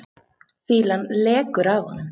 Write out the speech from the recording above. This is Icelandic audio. Fýlan lekur af honum.